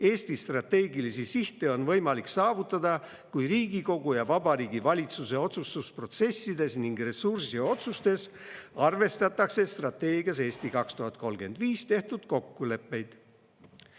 Eesti strateegilisi sihte on võimalik saavutada, kui Riigikogu ja Vabariigi Valitsuse otsustusprotsessides ning ressursiotsustes arvestatakse strateegias "Eesti 2035" tehtud kokkuleppeid.